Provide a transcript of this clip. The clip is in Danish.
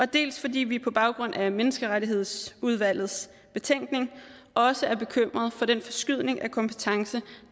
dels fordi vi på baggrund af menneskeretsudvalgets betænkning også er bekymret for den forskydning af kompetence